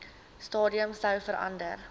stadium sou verander